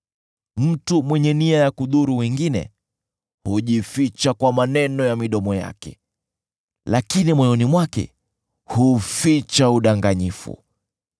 Mtu mwenye nia ya kudhuru wengine hujificha kwa maneno ya midomo yake, lakini moyoni mwake huficha udanganyifu.